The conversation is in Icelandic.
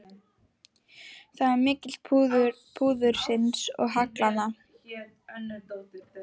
Það er á milli púðursins og haglanna.